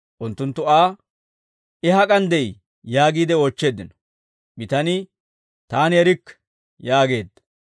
Unttunttu Aa, «I hak'an de'ii?» yaagiide oochcheeddino. Bitanii, «Taani erikke» yaageedda.